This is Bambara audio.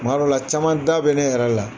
kuma dɔ la, caman da bɛ ne yɛrɛ la.